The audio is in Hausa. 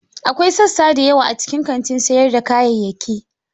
Akwai sassa da yawa a cikin kantin sayar da kayayyaki.